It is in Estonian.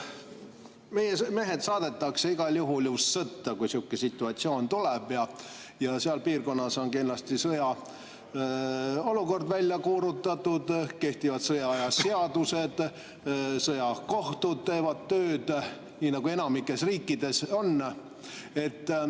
Meie mehed saadetakse igal juhul ju sõtta, kui sihuke situatsioon tuleb, siis seal piirkonnas on kindlasti sõjaolukord välja kuulutatud, kehtivad sõjaaja seadused, sõjakohtud teevad tööd, nii nagu enamikus riikides on.